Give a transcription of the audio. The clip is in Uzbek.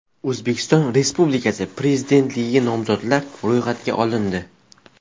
O‘zbekiston Respublikasi Prezidentligiga nomzodlar ro‘yxatga olindi.